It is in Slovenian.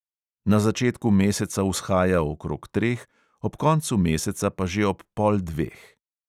Na začetku meseca vzhaja okrog treh, ob koncu meseca pa že ob pol dveh.